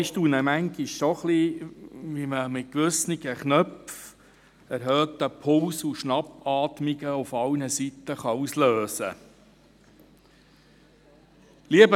Ich staune manchmal schon ein wenig, wie man mit gewissen Knöpfen erhöhten Puls und Schnappatmungen auf allen Seiten auslösen kann.